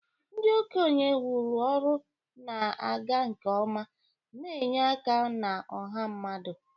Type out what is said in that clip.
Ndị okenye wuru ọrụ na-aga nke ọma, na-enye aka na ọha mmadụ.